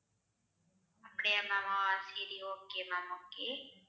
அப்படியா ma'am ஆஹ் சரி okay ma'am okay